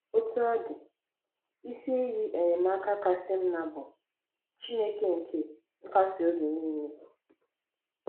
Otú ọ dị, isi iyi enyemaka kasị mma bụ “ Chineke nke nkasi obi nile. ”